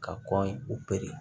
Ka kɔn u